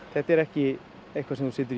þetta er ekki eitthvað sem þú setur